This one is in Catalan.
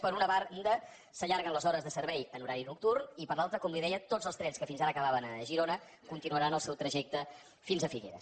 per una banda s’allarguen les hores de servei en horari nocturn i per l’altra com li deia tots els trens que fins ara acabaven a girona continuaran el seu trajecte fins a figueres